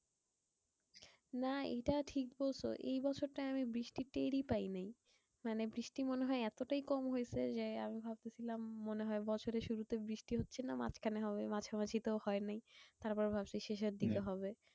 না এটা ঠিক বলছো। এই বছরটা আমি বৃষ্টি টেরই পাই নাই। মানে বৃষ্টি মনে হয় এতটাই কম হয়েছে যে, আমি ভাবতেসিলাম মনে হয় বছরের শুরুতে বৃষ্টি হচ্ছেনা মাঝখানে হবে মাঝে মাঝি তো হয় নাই। তারপর ভাবলাম শেষের দিকে হবে।